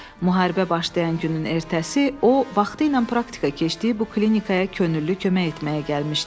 Müharibə başlayan günün ertəsi o vaxtı ilə praktika keçdiyi bu klinikaya könüllü kömək etməyə gəlmişdi.